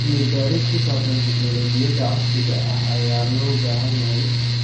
Cilmi baaris ku saabsan tignoolajiyada casriga ah ayaa loo baahan yahay.